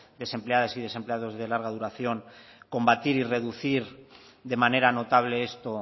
desempleadas y desempleados de larga duración combatir y reducir de manera notable esto